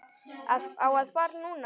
Á að fara núna.